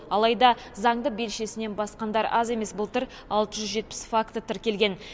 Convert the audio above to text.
алайда заңды белшесінен басқандар аз емес былтыр алты жүз жетпіс факті тіркелген